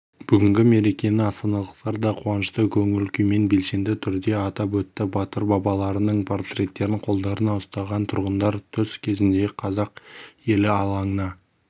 бүгінгі мерекені астаналықтар да қуанышты көңіл-күймен белсенді түрде атап өтті батыр бабаларының портреттерін қолдарына ұстаған тұрғындар түс кезінде қазақ елі алаңына